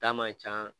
Ta man ca